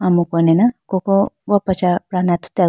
amuku ne na koko okocha pra aa ne athutiya bo.